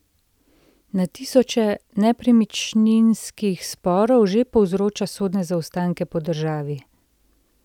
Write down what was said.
Na tisoče nepremičninskih sporov že povzroča sodne zaostanke po državi.